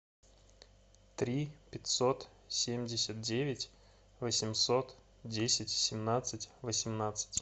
три пятьсот семьдесят девять восемьсот десять семнадцать восемнадцать